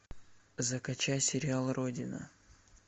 закачай сериал родина